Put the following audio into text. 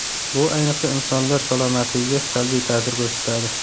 Bu ayniqsa, insonlar salomatligiga salbiy ta’sir ko‘rsatadi.